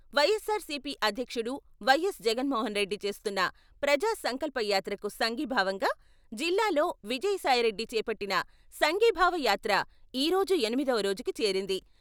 వైఎస్సార్ సీపీ అధ్యక్షుడు వైఎస్ జగన్మోహన్ రెడ్డి చేస్తున్న ప్రజా సంకల్పయాత్రకు సంఘీభావంగా జిల్లాలో విజయసాయి రెడ్డి చేపట్టిన సంఘీభావ యాత్ర ఈ రోజు ఎనిమిదవ రోజుకు చేరింది.